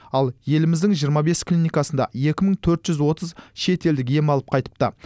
ал еліміздің жиырма бес клиникасында екі мың төрт жүз отыз шетелдік ем алып қайтыпты